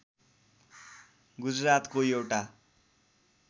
गुजरातको एउटा